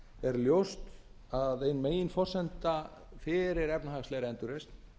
er ljóst að ein meginforsenda fyrir efnahagslegri endurreisn